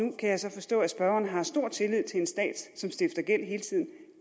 kan jeg så forstå at spørgeren har stor tillid til en stat som stifter gæld